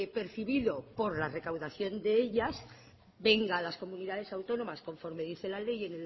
percibido por la recaudación de ellas venga a las comunidades autónomas conforme dice la ley